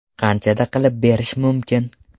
Qanchada qilib berish mumkin?